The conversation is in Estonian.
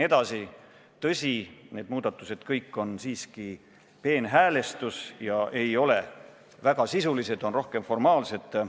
Tõsi, kõik need muudatused on siiski peenhäälestus ega ole väga sisulised, need on rohkem formaalsed.